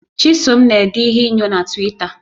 Chisom na-ede ihe inyo na Twita